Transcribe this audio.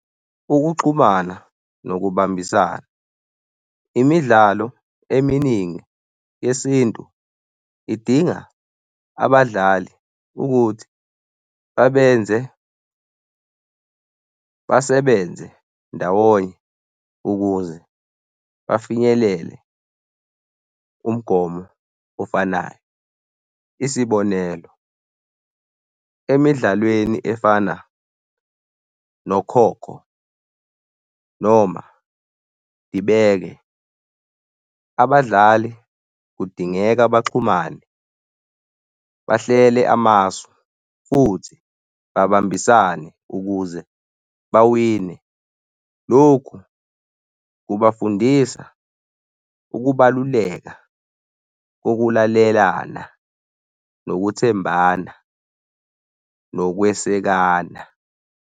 Ukuxhumana nokubambisana. Imidlalo eminingi yesintu idinga abadlali ukuthi babenze basebenze ndawonye ukuze bafinyelele umgomo ofanayo, isibonelo emidlalweni efana nokhokho noma dibeke, abadlali kudingeka baxhumane, bahlele amasu futhi babambisane ukuze bawine. Lokhu kubafundisa ukubaluleka kokulalelana nokuthembana, nokwesekana.